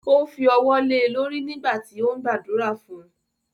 Ó fi wọ́ le lórí nígbà tí ó ń gbàdúrà fun.